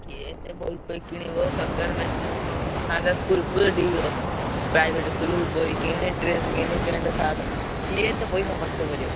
କିଏ ଏତେ ବହି ଫହି କିଣିବ ସରକାର ଥାଆନ୍ତା school ଫୁଲ୍ ଟିକେ ଇଏ କରିଥାନ୍ତି private school ବହି କିଣି, dress କିଣି, pant, shirt କିଏ ଏତେ ପଇସା ଖର୍ଚ କରିବ।